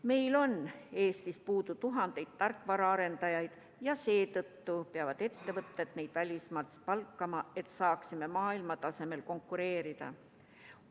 Meil on Eestis puudu tuhandeid tarkvaraarendajaid ja seetõttu peavad ettevõtted neid välismaalt palkama, et saaksime maailmatasemel konkureerida.